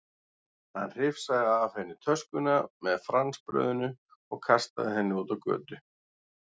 Hann hrifsaði af henni töskuna með franskbrauðinu og kastaði henni út á götu.